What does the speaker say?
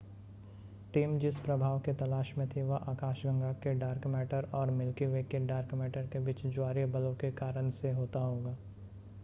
team जिस प्रभाव के तलाश में थी वह आकाशगंगा के डार्क मैटर और मिल्की वे के डार्क मैटर के बीच ज्वारीय बलों के कारण से होता होगा